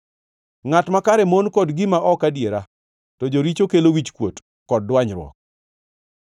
Ngʼat makare mon kod gima ok adiera, to joricho kelo wichkuot kod dwanyruok.